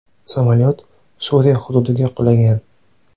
Samolyot Suriya hududiga qulagan.